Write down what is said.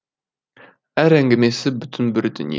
әр әңгімесі бүтін бір дүние